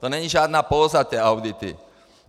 To není žádná póza, ty audity.